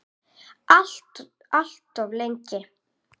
Alltof lengi.